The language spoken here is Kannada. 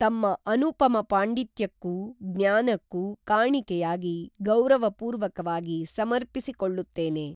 ತಮ್ಮ ಅನುಪಮ ಪಾಂಡಿತ್ಯಕ್ಕೂ, ಜ್ಞಾನಕ್ಕೂ ಕಾಣಿಕೇಯಾಗಿ ಗೌರವ ಪೂರ್ವಕವಾಗಿ ಸಮರ್ಪಿಸಿಕೊಳ್ಳುತ್ತೇನೆ